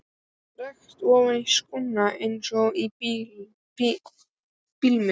Rak tærnar ofan í skóna eins og í blindni.